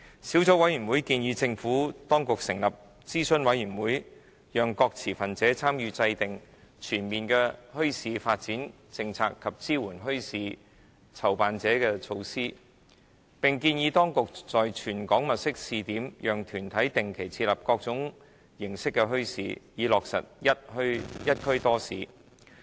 小組委員會建議政府當局成立諮詢委員會，讓各持份者參與制訂全面的墟市發展政策及支援墟市籌辦者的措施，並建議當局在全港物色試點，讓團體定期設立各種形式的墟市，從而落實"一區多市"。